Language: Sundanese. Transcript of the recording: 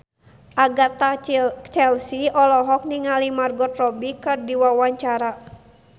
Agatha Chelsea olohok ningali Margot Robbie keur diwawancara